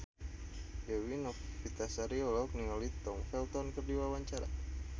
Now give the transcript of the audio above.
Dewi Novitasari olohok ningali Tom Felton keur diwawancara